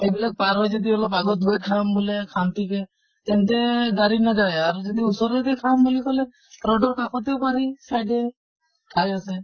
সেইবিলাক পাৰ হৈ যদি অলপ আগত গৈ খাব বুলে শান্তিকে তেনে গাড়ী নাযায়। কিন্তু ওচৰতে খাম বুল কʼলে road ৰ কাষতে পাৰি side য়ে ঠাই আছে।